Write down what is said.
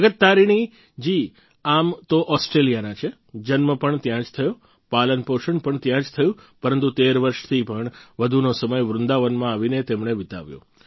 જગત તારીણી જી આમ તો ઓસ્ટ્રેલિયાના છે જન્મ પણ ત્યાં જ થયો પાલનપોષણ પણ ત્યાં જ થયું પરંતુ 13 વર્ષથી પણ વધુનો સમય વૃંદાવનમાં આવીને તેમણે વિતાવ્યો